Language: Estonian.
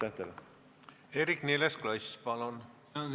Eerik-Niiles Kross, palun!